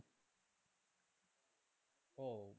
ও মানে,